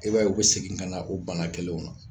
E b'a ye u bɛ segin ka na o bana kelenw na